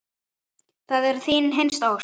Það var þín hinsta ósk.